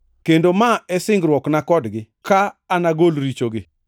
Kendo ma e singruokna kodgi, ka anagol richogi.” + 11:27 \+xt Isa 59:20,21; 27:9; Jer 31:33,34\+xt*